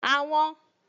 Àwọn